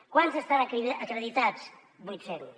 quants estan acreditats vuit cents